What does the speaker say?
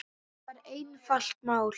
Þetta var einfalt mál.